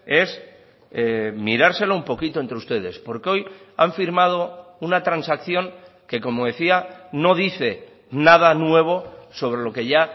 es mirárselo un poquito entre ustedes porque hoy han firmado una transacción que como decía no dice nada nuevo sobre lo que ya